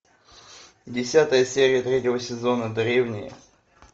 десятая серия третьего сезона древние